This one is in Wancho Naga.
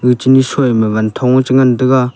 chini shuima wanthong ye chingantaga.